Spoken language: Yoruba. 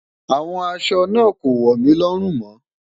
Awọn àṣọ naa kò wọ mí lórùn mó.